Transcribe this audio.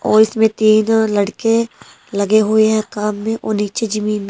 और इसमें तीन लड़के लगे हुए हैं काम में और नीचे जमीन --